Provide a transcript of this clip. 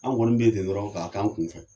An kɔni bɛ yen ten dɔrɔn ka kɛ an kun fɛ.